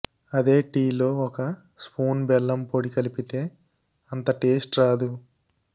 అదే టీలో ఒక స్పూన్ బెల్లం పొడి కలిపితే అంత టేస్ట్ రాదు